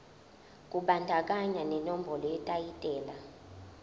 kubandakanya nenombolo yetayitela